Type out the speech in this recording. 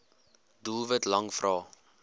doelwit lang vrae